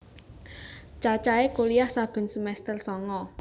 Cacahe kuliyah saben semester sanga